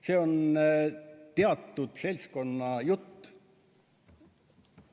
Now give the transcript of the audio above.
See on teatud seltskonna jutt.